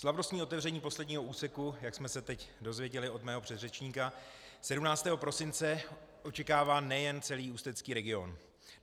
Slavnostní otevření posledního úseku, jak jsme se teď dozvěděli od mého předřečníka 17. prosince, očekává nejen celý ústecký region.